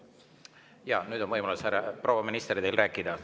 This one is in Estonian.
Jaa, nüüd on võimalus, proua minister, teil rääkida.